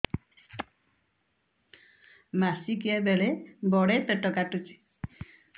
ମାସିକିଆ ବେଳେ ବଡେ ପେଟ କାଟୁଚି